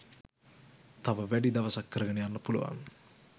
තව වැඩි දවසක් කරගෙන යන්න පුළුවන්